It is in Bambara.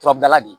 Turabila de